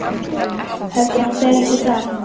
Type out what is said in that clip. Heldurðu að hún feli sig þar?